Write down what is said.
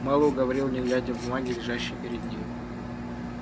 мэллоу говорил не глядя в бумаги лежащие перед ним